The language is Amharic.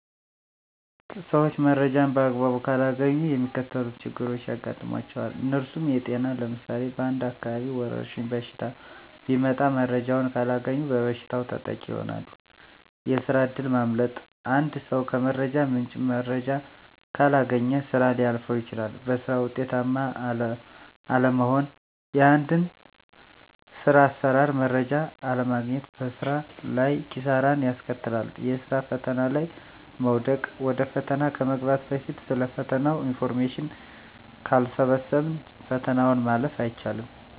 ሰዊች መረጃን በአግባቡ ካላገኙ የሚከተሉት ችግሮች ያጋጥሟቸዋል። እነርሱም -የጤና ለምሳሌ በአንድ አካባቢ ወረድሽኝ በሽታ ቢመጣ መረጃውን ካላገኙ በበሽታው ተጠቂ ይሆናሉ፤ የስራ እድል ማምለጥ -አንድ ሰው ከመረጃ ምንጭ መረጃ ካላገኘ ስራ ሊያልፈው ይችላል፤ በስራ ውጤታማ አለመሆን -የአንድን ስር አሰራር መረጃ አለማግኘት በስራ ላይ ኪሳራን ያስከትላል፤ የስራ ፈተና ላይ መውደቅ -ወደ ፈተና ከመግባት በፊት ስለ ፈተናው ኢንፎርሜሽን ካልሰበሰብን ፈተናውን ማለፍ አይቻልም።